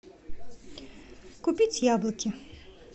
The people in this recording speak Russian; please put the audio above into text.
купить яблоки